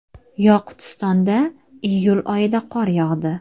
Yoqutistonda iyul oyida qor yog‘di.